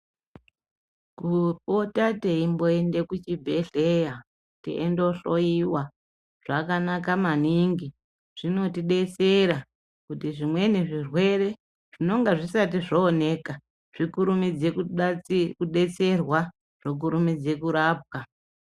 Kupota teimboende kuchibhedhlera teindohloyiwa zvakanaka maningi zvinotidetsera kuti zvimweni zvirwere zvinonge zvisati zvooneka zvikurumidze kudetserwa zvokurumidze kurapwa.